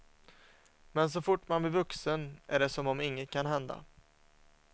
Men så fort man blir vuxen är det som om inget kan hända.